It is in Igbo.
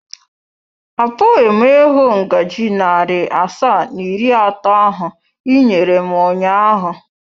Apụghị m ịhụ ngaji narị asaa na iri atọ ahụ i nyere m ụnyaahụ.